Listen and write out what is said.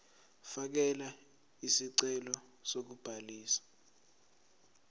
fakela isicelo sokubhaliswa